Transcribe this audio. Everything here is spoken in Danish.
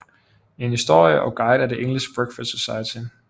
En historie og guide af The English Breakfast Society